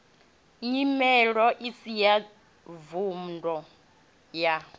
nyimelo isi ya vhunḓu ya